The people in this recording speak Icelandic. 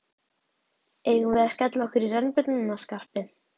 Eigum við að skella okkur í rennibrautina, Skarpi!